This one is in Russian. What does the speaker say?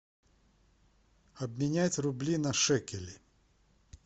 обменять рубли на шекели